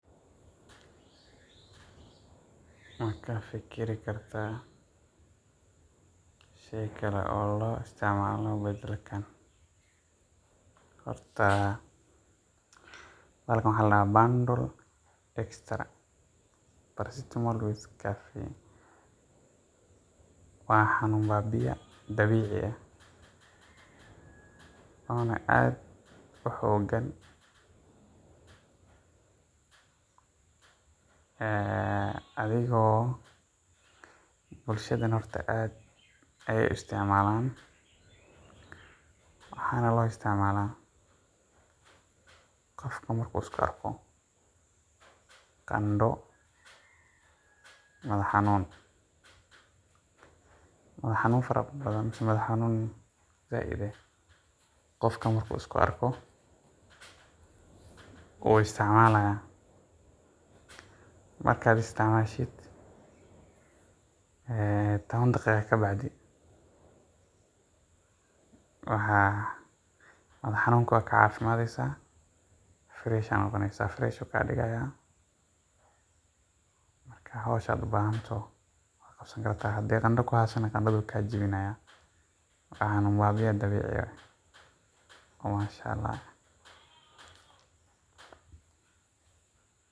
Ma ka fikiri kartaa shay kale oo loo isticmaalo badalkan? Horta, bahalkan waxaa la dhahaa Panadol Extra Paracetamol with Caffeine. Waa xanuun baabi'ye dabiici ah oo na aad u xooggan, bulshadana aad bay u isticmaalaan. Waxaana loo isticmaalaa qofka markuu isku arko qandho, madax-xanuun farabadan ama mid aad u daran. Qofka markuu isku arko, wuu isticmaalaa. Marka la isticmaalo, 10 daqiiqo ka dib xanuunkii wuu ka caafimaadaa, fresh ayuu noqonayaa. Markaas hawshii uu u baahnaa wuu qaban karaa. Haddii qandho ku haysana, wuu ka jawaabayaa. Waa xanuun baabi’ye dabiici ah oo mashaa’Allaah ah.